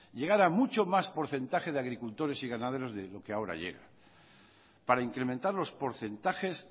llegar a mucho más porcentaje de agricultores y ganaderos de lo que ahora llega para incrementar los porcentajes